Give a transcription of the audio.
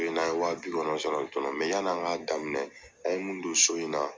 N'an ye wa bi kɔ nntn sɔrɔ joona ye yani an k'a daminɛ an mun don so in na